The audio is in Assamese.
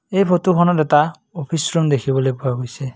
এই ফটোখনত এটা অফিচ ৰুম দেখিবলৈ পোৱা গৈছে।